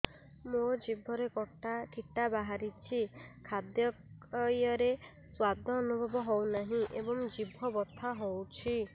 ମୋ ଜିଭରେ କିଟା ବାହାରିଛି ଖାଦ୍ଯୟରେ ସ୍ୱାଦ ଅନୁଭବ ହଉନାହିଁ ଏବଂ ଜିଭ ବଥା ହଉଛି